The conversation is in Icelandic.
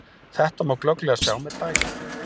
Þetta má glögglega sjá með dæmi.